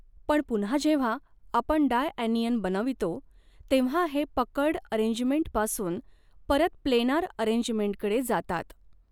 पण पुन्हा जेव्हा आपण डायॲनियन बनवितो तेव्हा हे पकर्ड अरेंजमेंट पासून परत प्लेनार अरेंजमेंट कडे जातात.